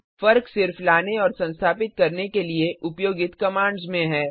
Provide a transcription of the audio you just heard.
फर्क सिर्फ लाने और संस्थापित करने के लिए उपयोगित कमांड्स में है